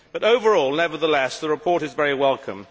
But overall, nevertheless, the report is very welcome.